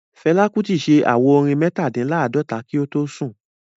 Fela Kuti ṣe àwo-orin Metadinlaadota kí o tó sùn